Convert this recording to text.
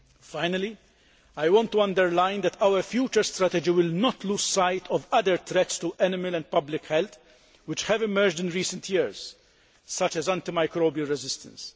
Finally, I want to underline that our future strategy will not lose sight of other threats to animal and public health which have emerged in recent years, such as antimicrobial resistance.